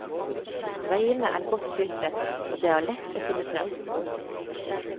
Veiene er godt skiltet og det er lett å finne frem.